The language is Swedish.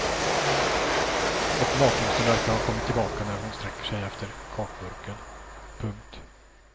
Och matlusten verkar ha kommit tillbaka när hon sträcker sig efter kakburken. punkt